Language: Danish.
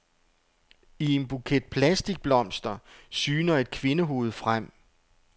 I en buket plastikblomster syner et kvindehoved frem.